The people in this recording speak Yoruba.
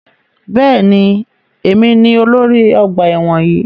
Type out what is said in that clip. Bẹ́ẹ̀ni, èmi ni olórí ọgbà ẹ̀wọ̀n yìí.